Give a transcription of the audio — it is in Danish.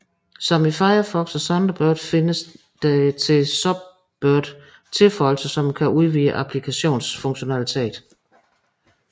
Som i Firefox og Thunderbird findes der til Sunbird tilføjelser som kan udvide applikationens funktionalitet